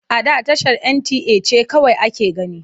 A da tashar NTA ce kawai ake gani.